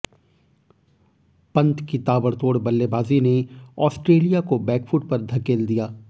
पंत की ताबड़तोड़ बल्लेबाजी ने ऑस्ट्रेलिया को बैकफुट पर धकेल दिया